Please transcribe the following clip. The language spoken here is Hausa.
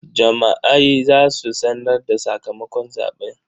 Jama'ai za su sanar da sakamakon zaɓe.